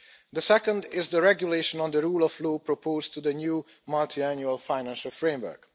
The second is the Regulation on the Rule of Law proposed for the new Multiannual Financial Framework.